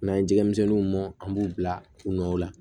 N'an ye jɛgɛmisɛnninw bɔ an b'u bila kunnaw la